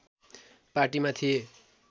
पार्टीमा थिए